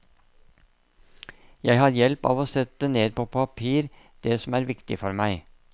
Jeg har hjelp av å sette ned på et papir det som er viktig for meg.